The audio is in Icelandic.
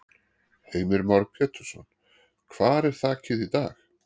Heimir Már Pétursson: Hvar er þakið í dag?